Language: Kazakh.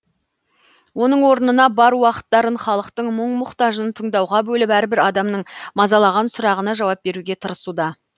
оның орнына бар уақыттарын халықтың мұң мұқтажын тыңдауға бөліп әрбір адамның мазалаған сұрағына жауап беруге тырысуда